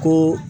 Ko